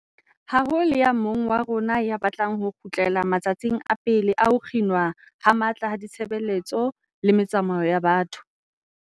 Ha ho le ya mong wa rona ya batlang ho kgutlela ma tsatsing a pele a ho kginwa ho matla ha ditshebeletso le metsamao ya batho.